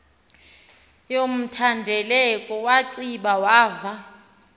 yomthendeleko wanciba wava